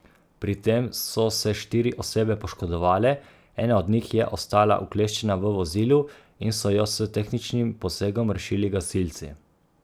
Pri tem so se štiri osebe poškodovale, ena od njih je ostala ukleščena v vozilu in so jo s tehničnim posegom rešili gasilci.